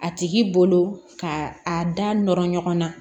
A tigi bolo ka a da nɔrɔ ɲɔgɔn na